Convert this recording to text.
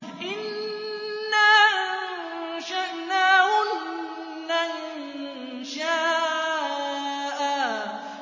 إِنَّا أَنشَأْنَاهُنَّ إِنشَاءً